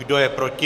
Kdo je proti?